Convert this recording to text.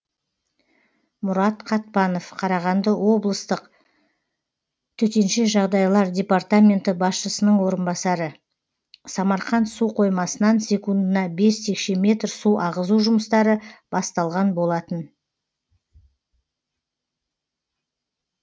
мұрат қатпанов қарағанды облыстық төтенше жағдайлар департамент басшысының орынбасары самарқанд су қоймасынан секундына бес текше метр су ағызу жұмыстары басталған болатын